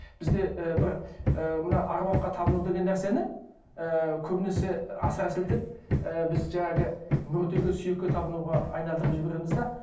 бізде і бір ыыы мына әруаққа табыну деген нәрсені ііі көбінесе асыра сілтеп ііі біз жаңағы мүртеге сүйекке табынуға айналдырып жібереміз де